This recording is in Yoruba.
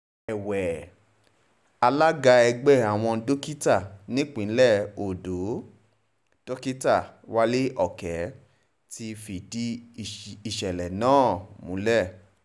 èwe alága ẹgbẹ́ àwọn dókítà nípìnlẹ̀ ọ̀dọ́ dókítà wálé òkè ti fìdí ìṣẹ̀lẹ̀ náà múlẹ̀